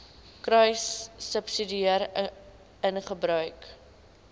kruissubsidiëringgebruik